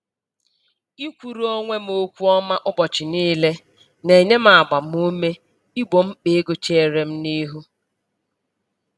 Ikwuru onwe m okwu ọma ụbọchị niile, na-enye m agbam ume igbo mkpa ego cheere m n'ihu